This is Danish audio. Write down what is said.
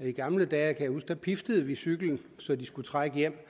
i gamle dage kan jeg huske piftede vi cyklen så de skulle trække hjem